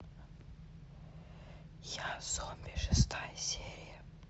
я зомби шестая серия